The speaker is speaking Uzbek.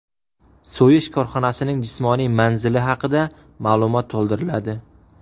So‘yish korxonasining jismoniy manzili haqida ma’lumot to‘ldiriladi.